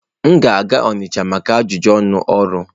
M ga-aga Onitcha maka ajụjụ ọnụ ọrụ.